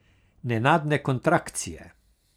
Nenadne kontrakcije.